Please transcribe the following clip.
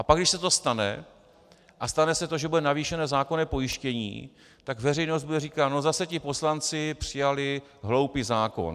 A pak, když se to stane, a stane se to, že bude navýšeno zákonné pojištění, tak veřejnost bude říkat: No, zase ti poslanci přijali hloupý zákon.